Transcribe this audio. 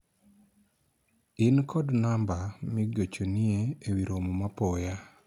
in kod namba ma igochonie ewi romoma apoya ?